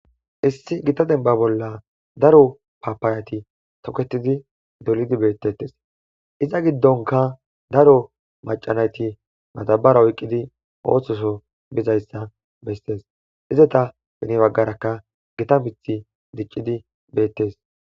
Iss Gita bemba bolla daro Papayati doketid dollid betetes, iza gidonka daro macanayt madabara oykid ososo bizaysa beses, iza hen bagaraka Gita muthy dicid betes,